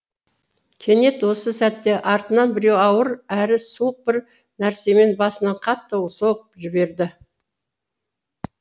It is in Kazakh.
кенет осы сәтте артынан біреу ауыр әрі суық бір нәрсемен басынан қатты соғып жіберді